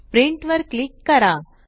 print वर click करा